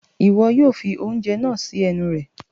iwọ yóò fi oúnjẹ naa si ẹnu rẹ